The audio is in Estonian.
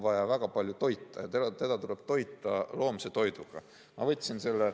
Ja teda tuleb toita loomse toiduga.